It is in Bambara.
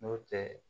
N'o tɛ